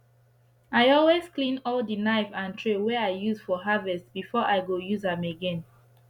i always clean all d knife and tray wey i use for harvest before i go use am again